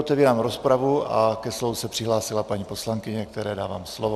Otevírám rozpravu a ke slovu se přihlásila paní poslankyně, které dávám slovo.